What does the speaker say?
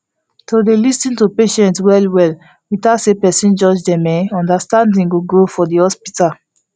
to dey lis ten to patient well well without say person judge dem en understanding go grow for the hospital